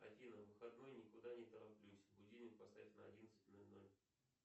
афина в выходной никуда не тороплюсь будильник поставь на одиннадцать ноль ноль